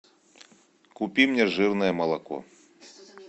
купи мне жирное молоко